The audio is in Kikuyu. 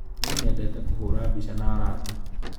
Niĩ nyendete kũhũra mbica na arata.